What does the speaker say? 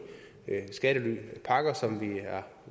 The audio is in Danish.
skattelypakker som vi er